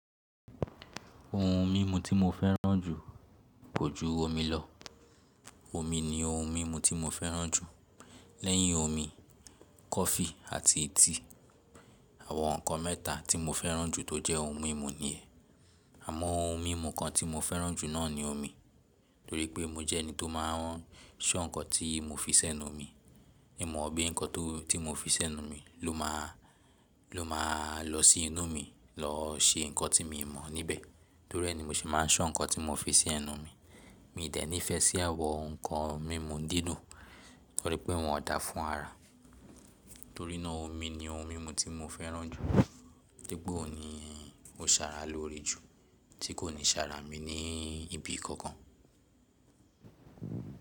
Ohun mímu tí mo fẹ́ràn jù kò ju omi lọ. Omi ni ohun mímu tí mo fẹ́ràn jù. Lẹ́yìn omi, kọfí àti tíì, àwọn nǹkan mẹ́ta tí mo fẹ́ràn jù tó jẹ́ ohun mímu nìyẹn. Àmọ́ ohun mímu kan tí mo fẹ́ràn jù náà ni omi, torí pé mo jẹ́ ẹni tó máa ń ṣọ́ nǹkan tí mo fi sẹ́nu mi. Ìmọ̀ bíi nǹkan tó ti mo fi sẹ́nu mi ló máa, ló máa lọ sí inú mi lọ ṣe nǹkan tí mi mọ̀ níbẹ̀. Torí ẹ ni mo ṣe máa ń ṣọ́ nǹkan tí mo fi sí ẹnu mi. Mí dẹ̀ ní ìfẹ́ sí àwọn nǹkan mímu dídùn torí pé wọn ò dáa fún ara. Torí náà omi ni ohun mímu tí mo fẹ́ràn jù, toripe òun ní ó sára lóre jù tí kò ní sára mi ní ibi kankan.